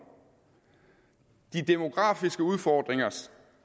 de demografiske udfordringer